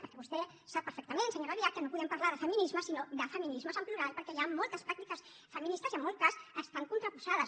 perquè vostè sap perfectament senyora albiach que no podem parlar de feminisme sinó de feminismes en plural perquè hi ha moltes pràctiques feministes i en molts casos estan contraposades